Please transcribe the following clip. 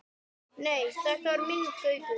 Nei, þetta var minn Gaukur.